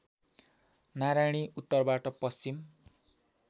नरायणी उत्तरबाट पश्चिम